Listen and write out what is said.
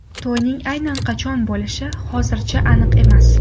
To‘yning aynan qachon bo‘lishi hozircha aniq emas.